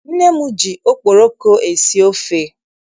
Nne m ji okporoko esi ofe.